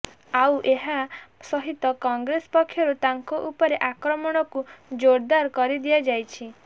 ଆଉ ଏହା ସହିତ କଂଗ୍ରେସ ପକ୍ଷରୁ ତାଙ୍କ ଉପରେ ଆକ୍ରମଣକୁ ଜୋରଦାର କରି ଦିଆଯାଇଛି